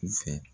U fɛ